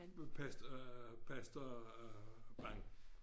Pastor øh pastor Bang